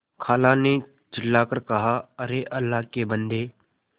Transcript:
खाला ने चिल्ला कर कहाअरे अल्लाह के बन्दे